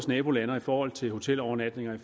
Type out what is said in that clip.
nabolande og i forhold til hotelovernatninger